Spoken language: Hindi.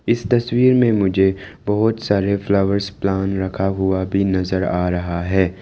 इस तस्वीर में मुझे बहुत सारे फ्लावर्स प्लान रखा हुआ भी नजर आ रहा है।